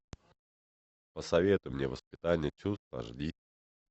посоветуй мне воспитание чувств аш ди